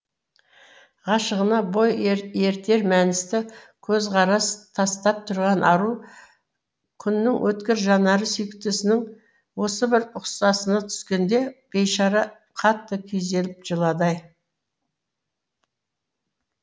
ғашығына бой ерітер мәністі көзқарас тастап тұрған ару күннің өткір жанары сүйіктісінің осы бір ұсқынына түскенде бейшара қатты күйзеліп жылады ай